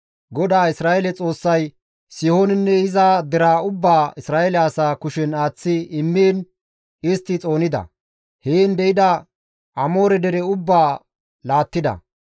GODAA Isra7eele Xoossay Sihoonenne iza deraa ubbaa Isra7eele asaa kushen aaththi immiin istti xoonida; heen de7ida Amoore dere ubbaa laattida.